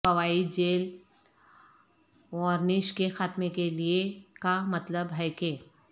فوائد gel varnish کے خاتمے کے لئے کا مطلب ہے کہ